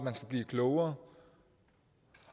blive klogere